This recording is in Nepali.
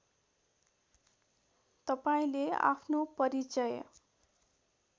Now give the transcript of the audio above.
तपाईँले आफ्नो परिचय